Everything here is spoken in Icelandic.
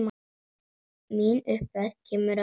Mín upphefð kemur að utan.